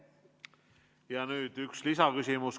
Ja nüüd üks lisaküsimus.